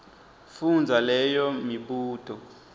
fundza leyo mibuto